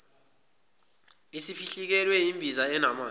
isiphihlikelwe yimbiza enamanzi